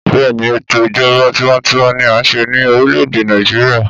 Bẹ́ẹ̀ni ètò Ìjọba tiwańtiwa ni a ń se ní orílè -èdè Nàìjíríà.